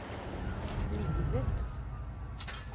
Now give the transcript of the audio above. livets